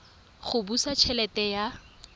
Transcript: go busa t helete ya